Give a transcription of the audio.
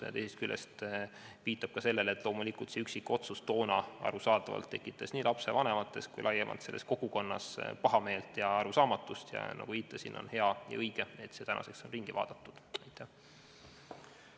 Ja teisest küljest viitan ka sellele, et loomulikult tekitas see üksikotsus toona nii lapsevanemates kui ka laiemalt selles kogukonnas pahameelt ja arusaamatust ning on hea ja õige, et see on tänaseks üle vaadatud ja ära muudetud.